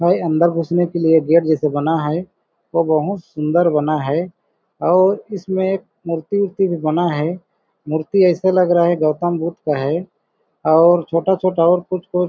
और अंदर घुसने के लिए गेट जैसे बना है वो बहोत सुन्दर बना है और इसमें एक मूर्ति-उरती भी बना है मूर्ति ऐसे लग रहा है गौतम बुद्ध का है और छोटा-छोटा और कुछ-कुछ--